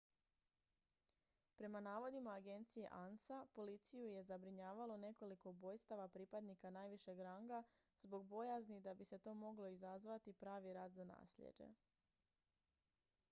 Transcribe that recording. prema navodima agencije ansa policiju je zabrinjavalo nekoliko ubojstava pripadnika najvišeg ranga zbog bojazni da bi to moglo izazvati pravi rat za naslijeđe